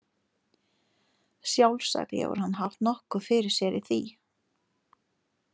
Sjálfsagt hefur hann haft nokkuð fyrir sér í því.